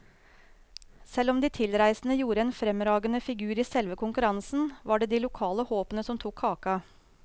Selv om de tilreisende gjorde en fremragende figur i selve konkurransen, var det de lokale håpene som tok kaka.